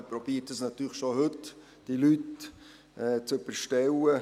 Man versucht natürlich schon heute, diese Leute zu überstellen.